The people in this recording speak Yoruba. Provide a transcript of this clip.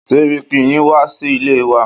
Sẹ́ríkí yín wá sí ilé wa.